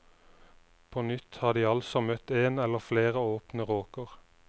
På nytt har de altså møtt én eller flere åpne råker.